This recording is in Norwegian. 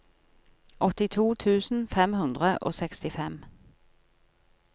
åttito tusen fem hundre og sekstifem